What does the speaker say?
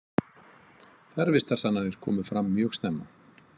Fjarvistarsannanir komu fram mjög snemma.